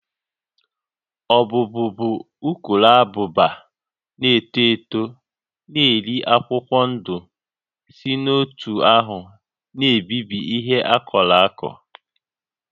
Ọbụ́bụụ bụ ukuruabụba na-eto eto na-eri akwụkwọ ndụ si otú ahụ na-ebibi ihe akụrụ akụ